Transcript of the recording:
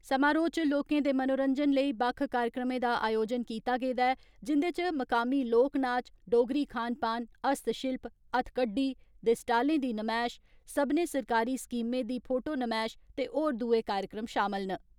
समारोह् च लोकें दे मनोरंजन लेई बक्ख कार्यक्रमें दा आयोजन कीता गेदा ऐ, जिन्दे च मुकामी लोक नाच, डोगरी खान पान, हस्तशिल्प, हत्थकड्डी दे स्टालें दी नमैश, सब्बनें सरकारी स्कीमें दी फोटो नमैश ते होर दुए कार्यक्रम शामल न।